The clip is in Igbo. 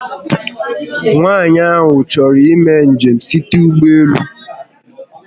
Nwaànyị ahụ chọrọ imé njem site n'ụgbọelu